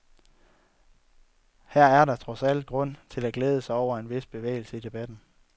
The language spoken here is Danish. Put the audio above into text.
Her er der trods alt grund til at glæde sig over en vis bevægelse i debatten.